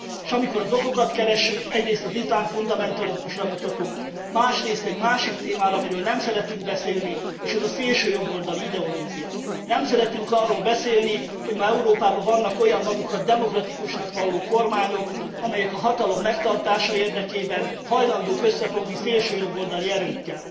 S amikor az okokat keressük, egyrészt az iszlám fundamentalizmusra mutatunk, másrészt egy másik témára, amiről nem szeretünk beszélni, és ez a szélsőjobboldali ideológia. Nem szeretünk arról beszélni, hogy ma Európában vannak olyan, magukat demokratikusnak valló kormányok, amelyek a hatalom megtartása érdekében hajlandók összefogni szélsőjobboldali erőkkel.